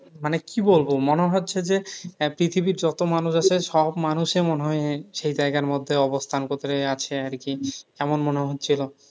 মানে কি বলবো? মনে হচ্ছে যে, আহ পৃথিবীর যত মানুষ আছে সব মানুষের মনে হয় সেই জায়গার মধ্যে অবস্থান করতে আসে আর কি। এমন মনে হচ্ছিল।